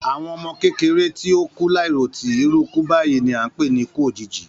Àwọn ọmọ kékeré tí o kú láì ròtì, iru iku báyìí ni a ń pè ni ikú òjijì